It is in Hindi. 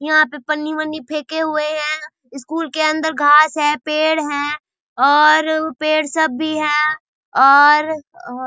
यहाँ पे पन्नी-वन्नी फेंके हुए हैं स्कूल के अंदर घास है पेड़ हैं और पेड़ सब भी हैं और औ--